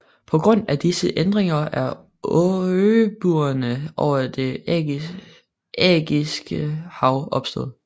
På grund af disse ændringer er øbuerne over Det Ægæiske Hav opstået